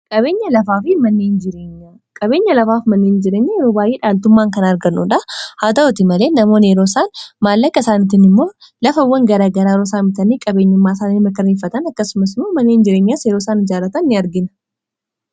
qabeenya lafaaf manneein jireenya yeroo bayyee dhaaltummaan kan argannuudha haata'oti malee namoon yerooisaan maallaaka isaanitiin immoo lafawwan garaa garaa yroosaamitaanii qabeenyummaasaanii makarreeffatan akkasumasmu manneein jireenyaa yeerooisaan ijaaratan in argina